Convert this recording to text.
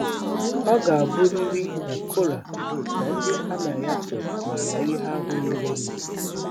Ọ ga-abụrịrị na Kora na ndị ha na ya so mara ihe ahụ merenụ.